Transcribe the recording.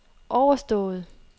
overstået